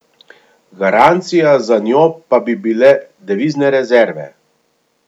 Garancija za njo pa bi bile devizne rezerve.